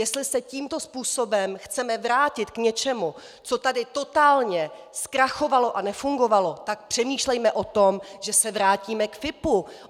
Jestli se tímto způsobem chceme vrátit k něčemu, co tady totálně zkrachovalo a nefungovalo, tak přemýšlejme o tom, že se vrátíme k FIPO.